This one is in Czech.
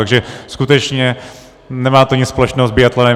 Takže skutečně nemá to nic společného s biatlonem.